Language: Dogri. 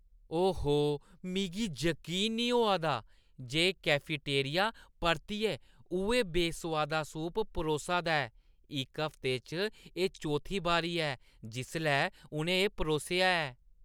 ओहो, मिगी जकीन नेईं होआ दा जे कैफेटेरिया परतियै उ'ऐ बेसोआदा सूप परोसा दा ऐ। इक हफ्ते च एह् चौथी बारी ऐ जिसलै उʼनें एह् परोसेआ ऐ।